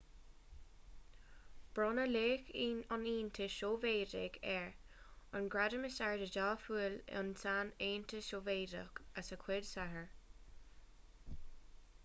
bronnadh laoch an aontais shóivéadaigh air an gradam is airde dá bhfuil ann san aontas sóivéadach as a chuid saothair